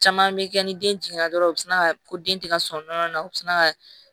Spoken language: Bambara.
Caman bɛ kɛ ni den jiginna dɔrɔn u bi sina ka ko den tɛ ka sɔn nɔnɔ na u bɛ sina ka